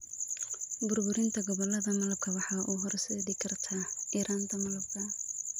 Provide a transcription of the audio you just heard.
Burburinta gobollada malabka waxay u horseedi kartaa yaraanta malabka.